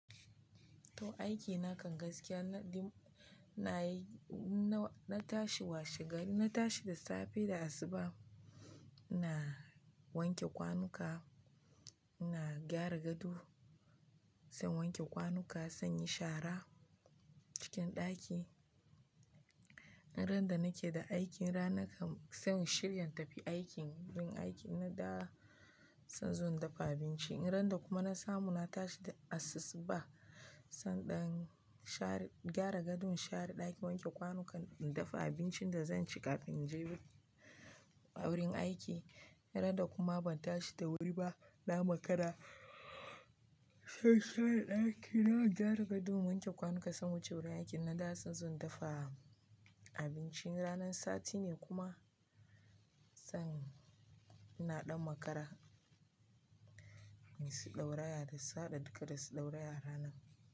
To aiki na kan gaskiya na ɗi-- ina yi-- na, na tashi washe gari, na tashi da safe da asuba, ina wanke kwanuka, ina gyara gado, sai wanke kwanuka, sai in yi shara cikin ɗaki. Duk randa nake da aikin ranan kam sai mu shirya in tafi aikin, yin aikin na da zan zo dafa abinci. In randa kuma na samu na tashi da asusuba sai in ɗan share, gyara gadon, share ɗaki, wanke kwanuka, in dafa abincin da zan ci kafin in je wurin aiki. In randa kuma ban tashi da wuri ba, na makara sai in share ɗaki, in gyara gadon, in wanke kwanuka sai in wuce wurin aiki. In na dawo sai in zo in dafa abinci, in ranan sati ne kuma sai in, ina ɗan makara nayi su dauraya dukka da su dauraya.